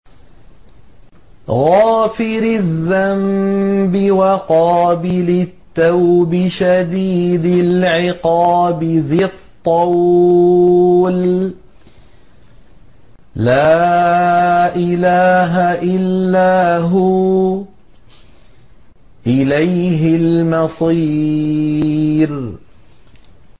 غَافِرِ الذَّنبِ وَقَابِلِ التَّوْبِ شَدِيدِ الْعِقَابِ ذِي الطَّوْلِ ۖ لَا إِلَٰهَ إِلَّا هُوَ ۖ إِلَيْهِ الْمَصِيرُ